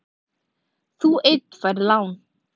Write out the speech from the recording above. Þú einn færð lán.